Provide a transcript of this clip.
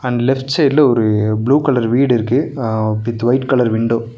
ம் லெஃப்ட் சைட்ல ஒரு ப்ளூ கலர் வீடு இருக்கு அ வித் ஒயிட் கலர் விண்டோ .